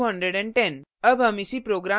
total is 210